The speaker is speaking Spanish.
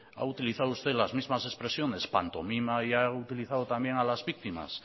ha utilizado usted las mismas expresiones pantomima y ha utilizado también a las víctimas